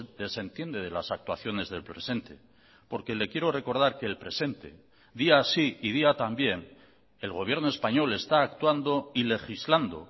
desentiende de las actuaciones del presente porque le quiero recordar que el presente día sí y día también el gobierno español está actuando y legislando